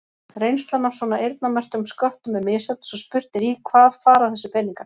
Reynslan af svona eyrnamerktum sköttum er misjöfn svo spurt er í hvað fara þessir peningar?